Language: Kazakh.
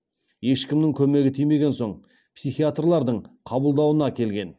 ешкімнің көмегі тимеген соң психиатрлардың қабылдауына келген